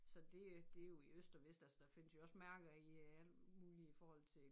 Så det er det jo i øst og vest altså der findes jo mærker i alt muligt i forhold til